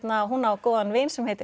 hún á góðan vin sem heitir